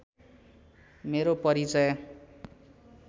मेरो परिचय